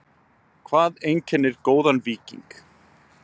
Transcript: Hvað einkennir góðan víking?